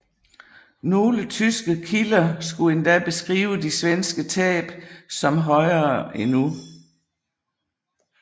Nogle tyske kilder skulle endda beskrive de svenske tab som højere endnu